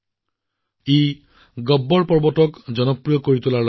এই প্ৰচেষ্টাৰ সফলতা দেখি এটা পৰামৰ্শও মোৰ মনলৈ আহিছে